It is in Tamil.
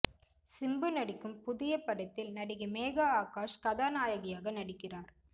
சிம்பு நடிக்கும் புதிய படத்தில் நடிகை மேகா ஆகாஷ் கதாநாயகியாக நடிக்கிறார்